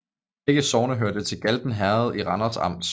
Begge sogne hørte til Galten Herred i Randers Amt